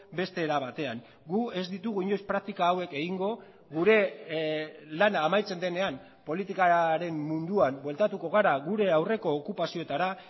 beste era batean gu ez ditugu inoiz praktika hauek egingo gure lana amaitzen denean politikaren munduan bueltatuko gara gure aurreko okupazioetara